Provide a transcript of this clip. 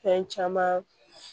Fɛn caman